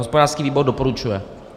Hospodářský výbor doporučuje.